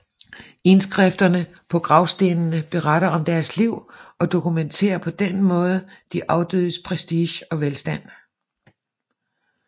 Indskrifterne på gravstenene beretter om deres liv og dokumenterer på denne måde de afdødes prestige og velstand